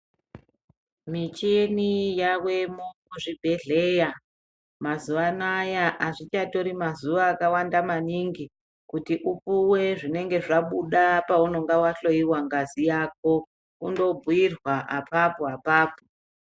Michina yawemo muzvibhedhlera mazuwa anaya azvichatori mazuwa akawanda maningi kuti upuwe zvinenge zvabuda paunenge wahloyiwa ngazi yako kundobhiirwa apapo apapo.